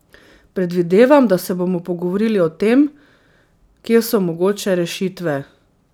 Predvidevam, da se bomo pogovorili o tem, kje so mogoče rešitve.